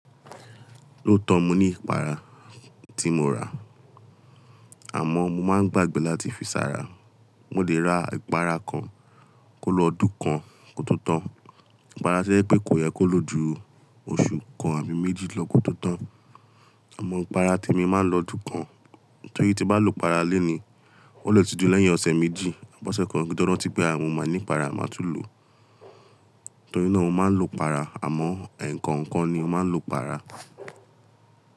Ó tọ́ mi ní ìpara tí mo rà, àmọ́ mo máa ń gbàgbé láti fi ṣàrà. Mo lè ra ìpara kan kó lọ ọdún kan kótótan. Ìpara to ẹ pé kò yẹ kó lo ju oṣù kan àbí méjì lọ kótótan, àmọ́ ìpara te mi máa ń lọ ọdún kan. Nítorí tí n bá lo ìpara lení, ó lè tu di lẹ́yìn ọ̀sẹ̀ méjì. Bọ́sẹ̀ kan kin tó rántí pé mo ní ìpara, màá tún lo. Nítorí náà mo máa ń lo ìpara, àmọ́ ẹ̀ẹ̀kan ńkan ni ó máa ń lo ìpara.